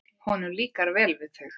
Honum líkar vel við þau.